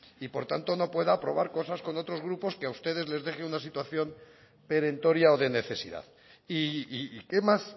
y por tanto no pueda aprobar cosas con otros grupos que a ustedes les deje en una situación perentoria o de necesidad y qué más